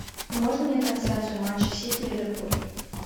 можно мне трансляцию матча сити ливерпуль